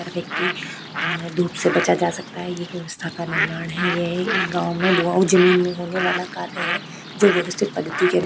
हर व्यक्ति अ धुप से बचा जा सकता है। ये ब्यवस्ता का निर्मार है। ये एक गांव में जमीन में होने वाला कार्य है जो व्यवस्थित पद्दति के --